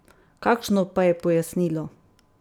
Kakšno pa je pojasnilo?